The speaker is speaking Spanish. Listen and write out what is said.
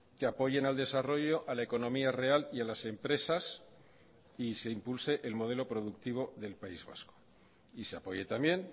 que apoyen al desarrollo a la economía real y a las empresas y se impulse el modelo productivo del país vasco y se apoye también